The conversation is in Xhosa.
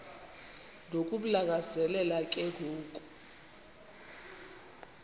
nokumlangazelela ke ngoku